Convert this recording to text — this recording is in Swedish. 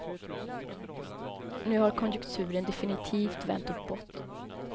Nu har konjukturen definitivt vänt uppåt.